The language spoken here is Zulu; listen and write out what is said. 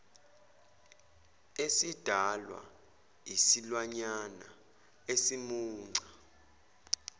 esidalwa isilwanyana esimunca